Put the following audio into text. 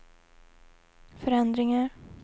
förändringar